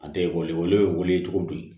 A tɛ ekɔli ye wele cogo di